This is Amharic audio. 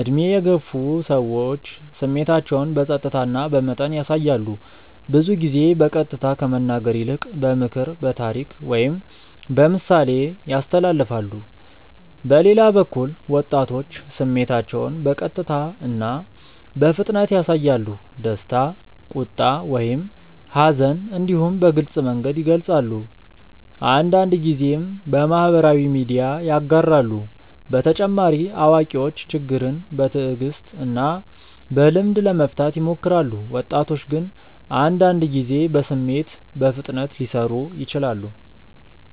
ዕድሜ የገፉ ሰዎች ስሜታቸውን በጸጥታ እና በመጠን ያሳያሉ። ብዙ ጊዜ በቀጥታ ከመናገር ይልቅ በምክር፣ በታሪክ ወይም በምሳሌ ያስተላልፋሉ። በሌላ በኩል ወጣቶች ስሜታቸውን በቀጥታ እና በፍጥነት ያሳያሉ። ደስታ፣ ቁጣ ወይም ሐዘን እንዲሁ በግልጽ መንገድ ይገልጻሉ፤ አንዳንድ ጊዜም በማህበራዊ ሚዲያ ያጋራሉ። በተጨማሪ አዋቂዎች ችግርን በትዕግስት እና በልምድ ለመፍታት ይሞክራሉ፣ ወጣቶች ግን አንዳንድ ጊዜ በስሜት በፍጥነት ሊሰሩ ይችላሉ።